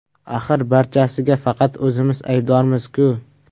Axir, barchasiga faqat o‘zimiz aybdormiz-ku.